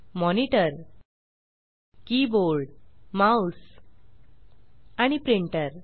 monitor keyboard mouse आणि printer